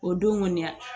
O don kɔni a